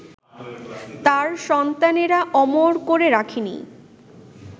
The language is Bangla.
তাঁর সন্তানেরা অমর করে রাখেনি